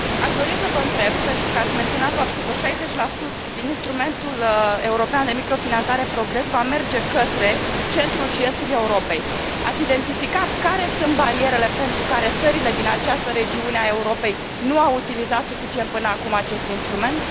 Aș dori să vă întreb, pentru că ați menționat faptul că 60 din Instrumentul european de microfinanțare Progress va merge către centrul și estul Europei ați identificat care sunt barierele pentru care țările din această regiune a Europei nu au utilizat suficient până acum acest instrument?